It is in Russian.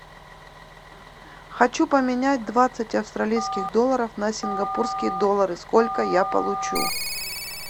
хочу поменять двадцать австралийских долларов на сингапурские доллары сколько я получу